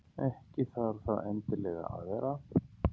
Ekki þarf það endilega að vera.